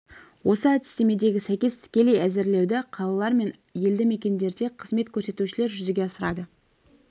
осы әдістемегі сәйкес тікелей әзірлеуді қалалар мен елді мекендерде қызмет көрсетушілер жүзеге асырады